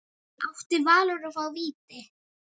Átti Valur að fá víti?